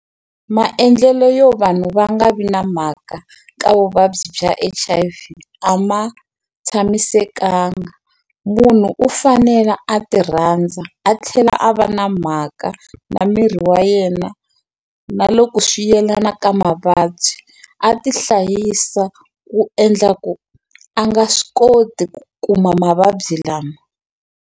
Maendlelo yo vanhu va nga vi na mhaka ka vuvabyi bya H_I_V a ma tshamisekanga munhu u fanela a ti rhandza a tlhela a va na mhaka na miri wa yena na loko swi yelana ka mavabyi a ti hlayisa ku endla ku a nga swi koti ku kuma mavabyi lama.